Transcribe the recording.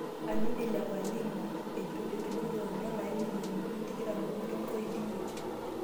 Anodi le palima etu, itumito dola omilionini 25.5